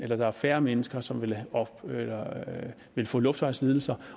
der er færre mennesker som vil vil få luftvejslidelser